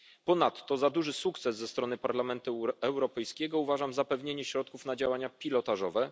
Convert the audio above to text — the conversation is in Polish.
Ponadto za duży sukces ze strony Parlamentu Europejskiego uważam zapewnienie środków na działania pilotażowe.